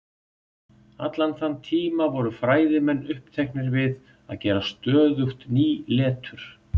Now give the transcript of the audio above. allan þann tíma voru fræðimenn uppteknir við að gera stöðugt ný letur